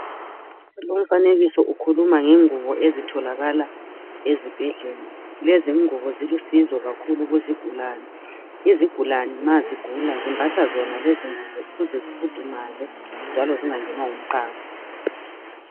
Lomfanekiso ukhuluma ngenguwo ezitholakala ezibhedlela. Lezi nguwo zilusizo kakhulu kuzigulane. Izigulane ma zigula zimbatha zona lezinguwo ukuze zifundumale, njalo zingangenwa yimqando.